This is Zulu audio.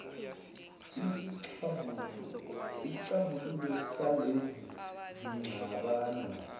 isixazululo salezi zingxabano